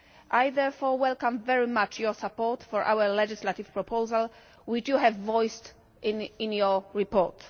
I therefore welcome very much your support for our legislative proposal which you have voiced in your report.